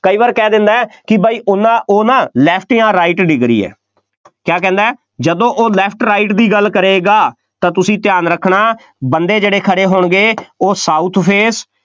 ਕਈ ਵਾਰ ਕਹਿ ਦਿੰਦਾ ਕਿ ਬਾਈ ਉਹਨਾ ਉਹ ਨਾ left ਜਾਂ right degree ਹੈ ਕਿਆ ਕਹਿੰਦਾ, ਜਦੋਂ ਉਹ left right ਦੀ ਗੱਲ ਕਰੇਗਾ, ਤਾਂ ਤੁਸੀਂ ਧਿਆਨ ਰੱਖਣਾ ਬੰਦੇ ਜਿਹੜੇ ਖੜ੍ਹੇ ਹੋਣਗੇ, ਉਹ south face